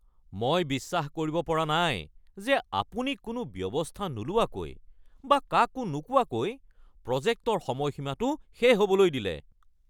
মই বিশ্বাস কৰিব পৰা নাই যে আপুনি কোনো ব্যৱস্থা নোলোৱাকৈ বা কাকো নোকোৱাকৈ প্ৰজেক্টৰ সময়সীমাটো শেষ হ’বলৈ দিলে।